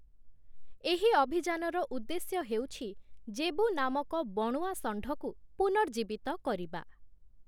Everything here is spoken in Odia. ଏହି ଅଭିଯାନର ଉଦ୍ଦେଶ୍ୟ ହେଉଛି ଜେବୁ ନାମକ ବଣୁଆ ଷଣ୍ଢକୁ ପୁନର୍ଜୀବିତ କରିବା ।